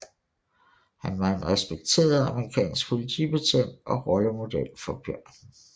Han var en respekteret amerikansk politibetjent og rollemodel for børn